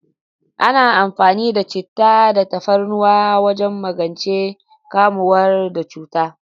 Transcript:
Ana amfani da chittah da tafarnuwa wajen magance kamuwa da cuta.